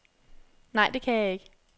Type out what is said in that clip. Nej, det kan jeg ikke.